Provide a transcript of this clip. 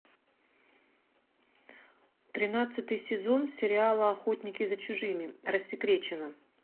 тринадцатый сезон сериала охотники за чужими рассекречено